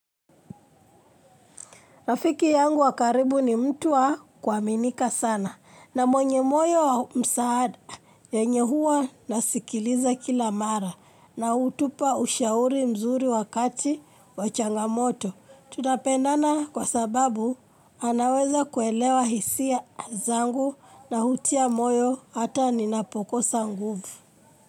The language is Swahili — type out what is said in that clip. Rafiki yangu wa karibu ni mtu wa kuaminika sana na mwenye moyo wa msaada yenye huwa nasikiliza kila mara na hutupa ushauri mzuri wakati wa changamoto. Tunapendana kwa sababu anaweza kuelewa hisia zangu na hutia moyo hata ninapokosa nguvu.